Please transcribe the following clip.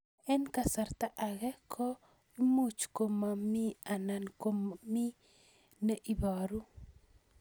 Eng' kasarta ag'e ko much ko mii anan komamii ne ibaru